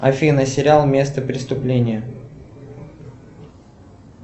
афина сериал место преступления